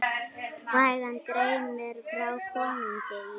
Sagan greinir frá konungi í